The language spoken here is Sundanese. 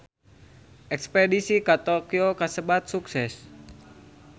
Espedisi ka Tokyo kasebat sukses